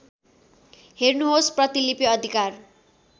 हेर्नुहोस् प्रतिलिपि अधिकार